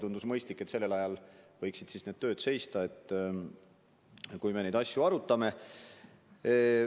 Tundus mõistlik, et sellel ajal, kui me neid asju arutame, võiksid need tööd seista.